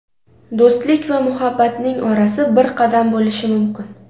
Do‘stlik va muhabbatning orasi bir qadam bo‘lishi mumkin.